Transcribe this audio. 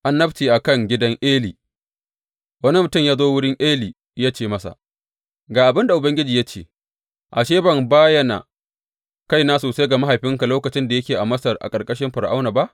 Annabcin a kan gidan Eli Wani mutum ya zo wurin Eli ya ce masa, Ga abin da Ubangiji ya ce, Ashe ban bayana kaina sosai ga mahaifinka lokacin da yake a Masar a ƙarƙashin Fir’auna ba?